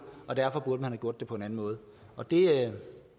og derfor burde man have gjort det på en anden måde og det